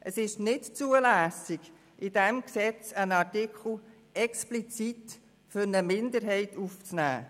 Es ist nicht zulässig, in diesem Gesetz einen Artikel explizit für eine Minderheit aufzunehmen.